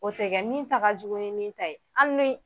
O tɛ kɛ min ta ka jugu ni min ta ye hali ni